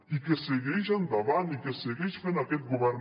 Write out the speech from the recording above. i que segueix endavant i que segueix fent aquest govern